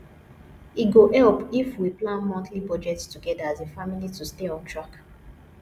e go help if we plan monthly budget together as a family to stay on track